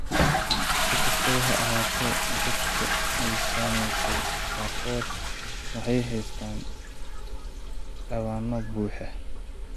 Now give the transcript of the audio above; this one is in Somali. Si kastaba ha ahaatee, dadka ay saamaysay qaarkood waxay haystaan ​​dhabanno buuxa.